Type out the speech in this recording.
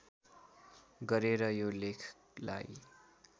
गरेर यो लेखलाई